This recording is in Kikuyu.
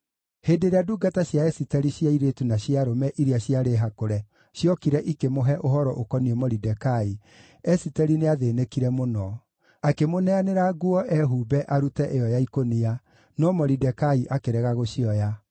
Hĩndĩ ĩrĩa ndungata cia Esiteri cia airĩtu na cia arũme iria ciarĩ hakũre ciokire ikĩmũhe ũhoro ũkoniĩ Moridekai, Esiteri nĩathĩĩnĩkire mũno. Akĩmũneanĩra nguo ehumbe arute ĩyo ya ikũnia, no Moridekai akĩrega gũcioya.